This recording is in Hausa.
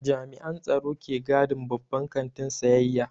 Jami'an tsaro ke gadin babban kantin sayayya.